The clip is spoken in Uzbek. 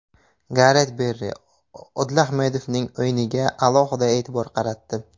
Garet Berri Odil Ahmedovning o‘yiniga alohida e’tibor qaratdi.